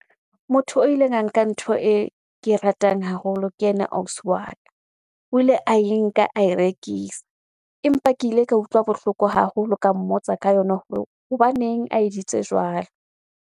Motho o ileng a nka ntho e ke e ratang haholo ke yena ausi wa ka. O ile ae nka, ae rekisa. Empa ke ile ka utlwa bohloko haholo, ka mmotsa ka yona hore hobaneng a editse jwalo.